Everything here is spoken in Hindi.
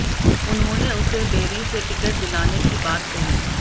उन्होंने उसे बेरी से टिकट दिलाने की बात कही